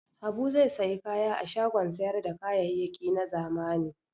Habu zai sayi kaya a shagon sayar da kayayyaki na zamani.